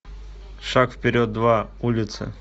шаг вперед два улицы